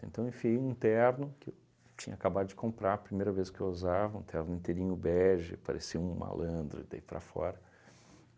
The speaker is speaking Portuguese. Então eu enfiei um terno que eu tinha acabado de comprar, primeira vez que eu usava, um terno inteirinho bege, parecia um malandro daí para fora.